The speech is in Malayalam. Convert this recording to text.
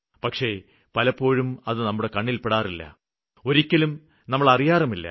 പക്ഷേ പലപ്പോഴും അത് നമ്മുടെ കണ്ണില്പ്പെടാറില്ല ഒരിക്കലും നമ്മള് അറിയാറുമില്ല